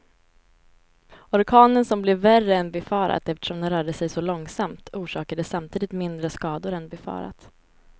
Orkanen som blev värre än befarat eftersom den rörde sig så långsamt, orsakade samtidigt mindre skador än befarat.